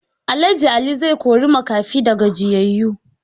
Alh Ali zai kori makafi da gajiyayu.